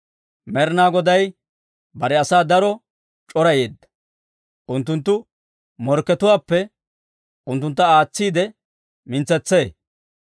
Med'inaa Goday bare asaa daro c'orayeedda; unttunttu morkkatuwaappe unttuntta aatsiide mintsetsee.